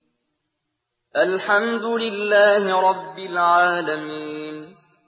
الْحَمْدُ لِلَّهِ رَبِّ الْعَالَمِينَ